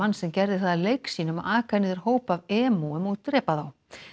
sem gerði það að leik sínum að aka niður hóp af emúum og drepa þá